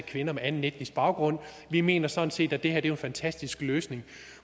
kvinder med anden etnisk baggrund og vi mener sådan set at det her er en fantastisk løsning